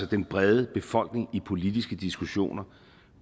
den brede befolkning i politiske diskussioner